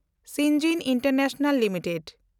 ᱥᱤᱱᱡᱤᱱ international limited